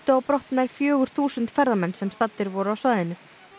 á brott nær fjögur þúsund ferðamenn sem staddir voru á svæðinu